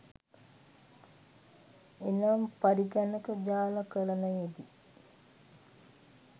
එනම් පරිගණක ජාලකරණයෙදී